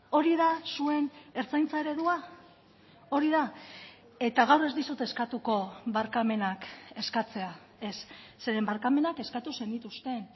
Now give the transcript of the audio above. hori da zuen ertzaintza eredua hori da eta gaur ez dizut eskatuko barkamenak eskatzea ez zeren barkamenak eskatu zenituzten